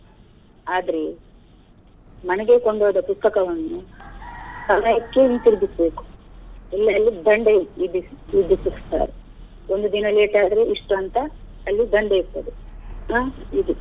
ಆದ್ರೆ ಮನೆಗೆ ಕೊಂಡು ಹೋದ ಪುಸ್ತಕವನ್ನು ಸಮಯಕ್ಕೆ ಹಿಂತಿರಿಗಿಸ್ಬೇಕು ಇಲ್ಲ ಅಲ್ಲಿ ದಂಡ ವಿಧಿ~ ವಿಧಿಸುತ್ತಾರೆ. ಒಂದು ದಿನ late ಆದ್ರೆ ಇಷ್ಟು ಅಂತ ಅಲ್ಲಿ ದಂಡ ಇರ್ತದೆ ಹಾ ಇದೆ.